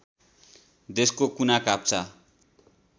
देशका कुना काप्चा